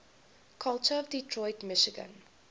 culture of detroit michigan